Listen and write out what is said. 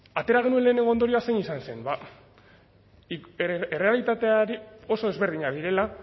atera genuen lehenengo ondorioa zein izan zen bada errealitateak oso ezberdinak direla